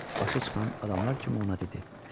Başa çıxan adamlar kimi ona dedi.